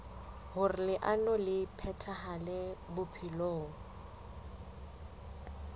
hoer leano le phethahale bophelong